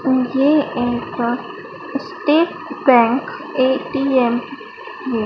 उम्म ये एक State Bank ATM है।